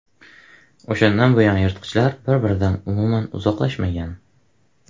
O‘shandan buyon yirtqichlar bir-biridan umuman uzoqlashmagan.